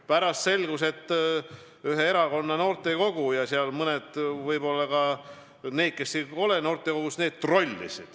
Pärast selgus, et ühe erakonna noortekogu ja mõned võib-olla ka need, kes ei ole noortekogus, trollisid.